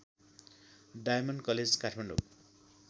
diamond college Kathmandu